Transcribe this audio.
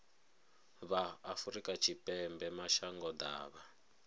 vha afrika tshipembe mashango ḓavha